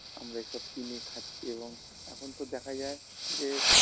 আমরা এসব কিনে খাচ্ছি এবং এখন তো দেখা যায়